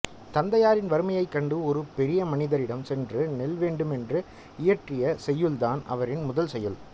தந்தையாரின் வறுமையைக் கண்டு ஒரு பெரியமனிதரிடம் சென்று நெல் வேண்டுமென்று இயற்றிய செய்யுள்தான் அவரின் முதல் செய்யுள்